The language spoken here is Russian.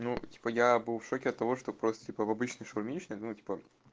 ну типа я был в шоке от того что просто типа в обычной шаурмичной ну типа